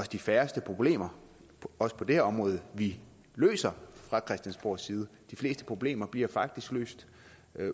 de færreste problemer også på det her område vi løser fra christiansborgs side de fleste problemer bliver faktisk løst